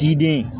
Kiden den